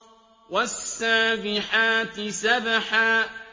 وَالسَّابِحَاتِ سَبْحًا